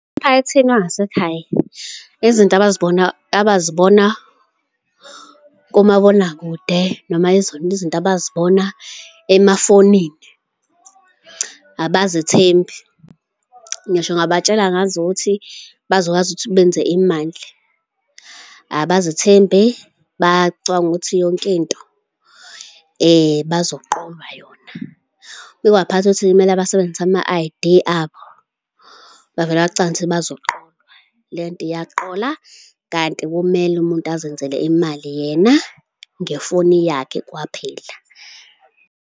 Emphakathini wangasekhaya, izinto abizibona abazibona komabonakude noma yizona izinto abazibona emafonini abazithembi. Ngisho ungabatshela ngazo ukuthi bazokwazi ukuthi benze imali. Abazithembi bacabanga ukuthi yonke into bazoqolwa yona. Uma ukewaphatha ukuthi kumele basebenzise ama-I_D abo bavele bacabange ukuthi bazoqolwa. Lento iyaqola kanti kumele umuntu azenzele imali yena ngefoni yakhe kwaphela.